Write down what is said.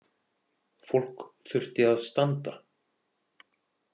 Fólk þurfti að standa.